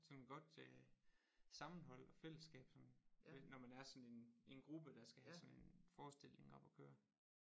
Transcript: Sådan godt øh sammenhold og fællesskab sådan når man er sådan en en gruppe der skal have sådan en forestilling op at køre